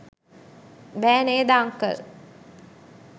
බෑ නේද අංකල්?